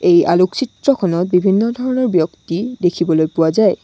এই আলোকচিত্ৰখনত বিভিন্ন ধৰণৰ ব্যক্তি দেখিবলৈ পোৱা যায়।